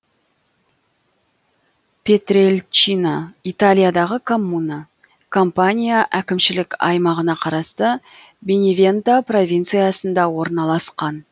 пьетрельчина италиядағы коммуна кампания әкімшілік аймағына қарасты беневенто провинциясында орналасқан